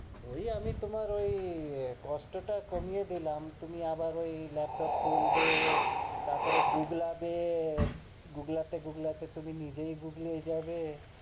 ওই আমি তুমার ওই কষ্টটা কমিয়ে দিলাম, তুমি আবার ওই লেপটপ খুলবে, তারপরে গুগলাবে, গুগলাতে গুগলাতে তুমি নিজেই গুগলে যাবে,